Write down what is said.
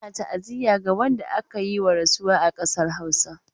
Ana ta'aziyya ga wanda aka yi wa rasuwa a ƙasar Hausa.